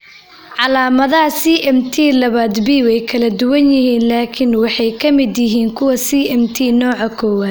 Calaamadaha CMT labaad B way kala duwan yihiin laakiin waxay la mid yihiin kuwa CMT nooca kowaad.